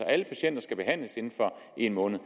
altså skal behandles inden for en måned